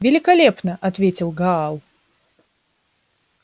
великолепно ответил гаал